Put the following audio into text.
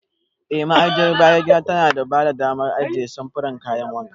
Eh, Ma'ajiyar bayan gida tana ba da damar ajiye samfuran kayan wanka.